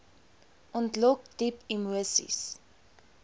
ontlok diep emoseis